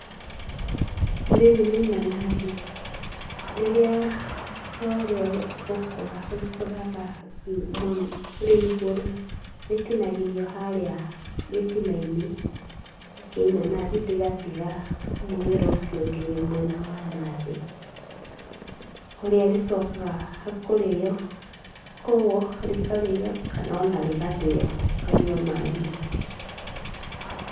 Rĩrĩ nĩ inanathi rĩrĩa thutha wa rĩo gũkũra, rĩkũraga rĩ igũrũ, rĩtinagĩrio gĩtina-inĩ kĩa inanathi, rĩgatiga mũmera ũcio ũngĩ mwena wa na thĩ. Kũrĩa rĩcokaga kũrĩo kana rĩgathĩo ũkanyua maaĩ mau.